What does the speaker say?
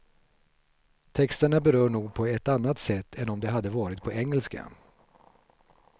Texterna berör nog på ett annat sätt än om de hade varit på engelska.